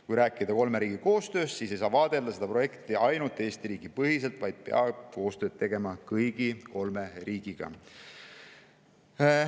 Kui rääkida kolme riigi koostööst, siis ei saa seda projekti vaadelda ainult Eesti riigi põhiselt, vaid peab koostööd tegema kõigi kolme riigiga.